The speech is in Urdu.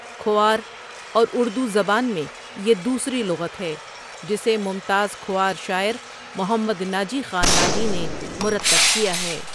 کھوار اور اردو زبان میں یہ دوسری لغت ہے جسے ممتاز کھوار شاعر محمد ناجی خان ناجی نے مرتب کیا ہے ۔